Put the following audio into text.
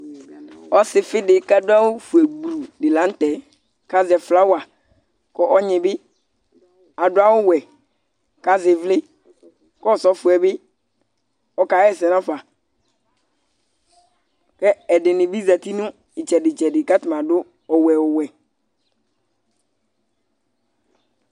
Ɔsɩfɩ dɩ kʋ adʋ awʋfue gblu dɩ la nʋ tɛ kʋ azɛ flawa kʋ ɔnyɩ bɩ adʋ awʋwɛ kʋ azɛ ɩvlɩ kʋ ɔsɔfɔ bɩ ɔkaɣa ɛsɛ nafa Kʋ ɛdɩnɩ bɩ zati nʋ ɩtsɛdɩ-tsɛdɩ kʋ atanɩ adʋ ɔwɛ ɔwɛ